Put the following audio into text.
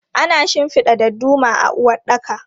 Ana shinfida dadduma a uwaɗɗaka.